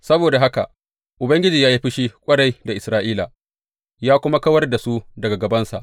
Saboda haka Ubangiji ya yi fushi ƙwarai da Isra’ila, ya kuma kawar da su daga gabansa.